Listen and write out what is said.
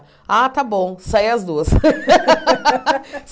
Ah, tá bom, sai as duas.